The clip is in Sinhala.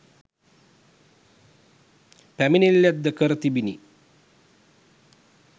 පැමිණිල්ලක්‌ද කර තිබිණි.